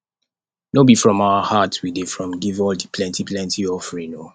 no be from our heart we dey from give all di plenty plenty offering o